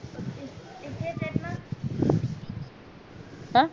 अं